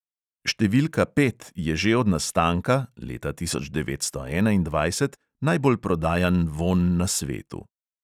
"Številka pet" je že od nastanka, leta tisoč devetsto enaindvajset, najbolj prodajan vonj na svetu.